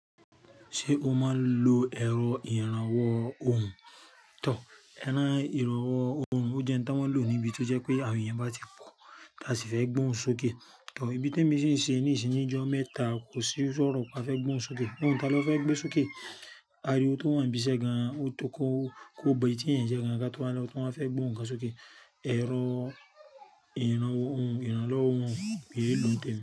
Ṣé o máa ń lo ẹ̀rọ ìrànwọ́ ohùn? Tò, ẹrán ìrànwọ́ ohùn, ó jẹ́ ohun tí wọ́n ń lò níbi tí ó jẹ́ pé àwọn èèyàn bá ti po, táa sì fẹ́ gbóhùn sókè. Tò, ibi te mi ṣi n ṣe ní sin ni ìjọ mẹ́ta, kò sí sọ́rọ̀ ká fẹ́ gbóhùn sókè. Ohun táa lọ́ fẹ́ gbé sókè. A rí ó tó wọ́n ń bisẹ́ gan-an, ó tó kọ́, kó ba etí èèyàn ń jẹ́ gan-an ká tó bá lọ, tó bá fẹ́ gbóhùn ká sókè. Ẹ̀rọ ìrànwọ́ ohùn, ìrànlọ́wọ́ ohùn, béè ló ń tẹ̀ mí.